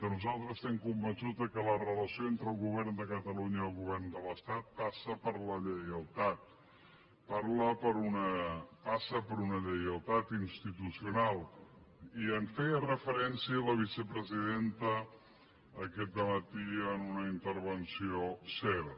nosaltres estem conven·çuts que la relació entre el govern de catalunya i el govern de l’estat passa per la lleialtat passa per una lleialtat institucional i hi feia referència la vicepresi·denta aquest dematí en una intervenció seva